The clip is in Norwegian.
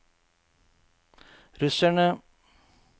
russerne